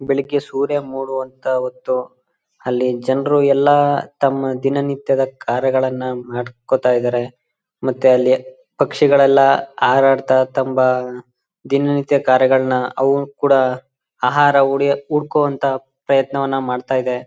ಬೆಳಗ್ಗೆ ಸೂರ್ಯ ಮೂಡು ಅಂತ ಹೊತ್ತು ಅಲ್ಲಿ ಜನರು ಎಲ್ಲಾ ತಮ್ಮ ದಿನ ನಿತ್ಯದ ಕಾರ್ಯಗಳನ್ನ ಮಾಡ್ಕೊತಾ ಇದರೆ ಮತ್ತೆ ಅಲ್ಲಿ ಪಕ್ಷಿಗಳೆಲ್ಲಾ ಹಾರಾಡ್ತಾ ತಂಬಾ ದಿನ ನಿತ್ಯ ಕಾರ್ಯಗಳನ್ನ ಅವು ಕೂಡ ಆಹಾರ ಹುಡಕು ಅಂತಹ ಪ್ರಯತ್ನವನ್ನ ಮಾಡ್ತಾ ಇದೆ.